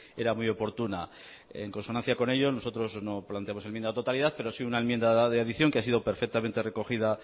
era muy oportuna en consonancia con ello nosotros no planteamos enmienda a la totalidad pero sí una enmienda de adicción que ha sido perfectamente recogida